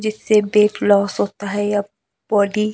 जिससे weight loss होता है या बॉडी --